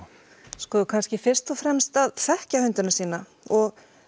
sko kannski fyrst og fremst að þekkja hundana sína og